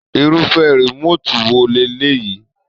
Irufẹ remotii wo leleyii?